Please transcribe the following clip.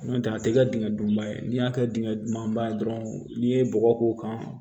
N'o tɛ a tɛ kɛ dingɛ dunba ye n'i y'a kɛ dingɛ duguma dɔrɔn n'i ye bɔgɔ k'o kan